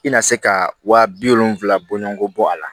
I na se ka wa bi wolonwula bɔɲɔgo bɔ a la